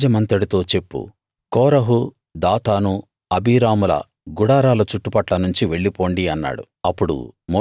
సమాజమంతటితో చెప్పు Korah Dathan అబీరాముల గుడారాల చుట్టుపట్ల నుంచి వెళ్ళి పొండి అన్నాడు